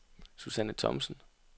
Susanne Thomsen